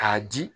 K'a di